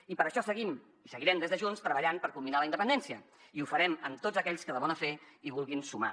i per això seguim i seguirem des de junts treballant per culminar la independència i ho farem amb tots aquells que de bona fe hi vulguin sumar